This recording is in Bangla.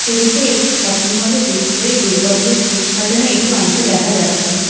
ছবিতে একটি শপিংমলে ভেতরে দুর্গাপূজার থিম সাজানো একটি অংশ দেখা যাচ্ছে।